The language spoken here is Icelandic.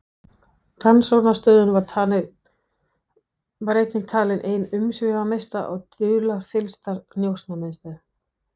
Rannsóknarstöðin var einnig talin ein umsvifamesta og dularfyllsta njósnamiðstöð